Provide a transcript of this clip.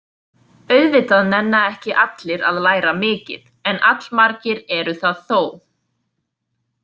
Auðvitað nenna ekki allir að læra mikið, en allmargir eru það þó.